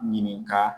Ɲininka